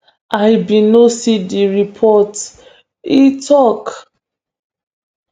i bin no see di reports e tok